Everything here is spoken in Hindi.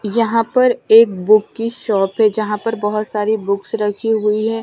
यहां पर एक बुक की शॉप है जहां पर बहुत सारी बुकस रखी हुई हैं।